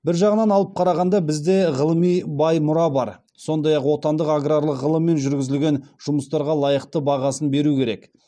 бір жағынан алып қарағанда бізде ғылыми бай мұра бар сондай ақ отандық аграрлық ғылыммен жүргізілген жұмыстарға лайықты бағасын беру керек